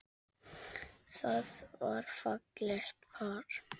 Það var fallegt par.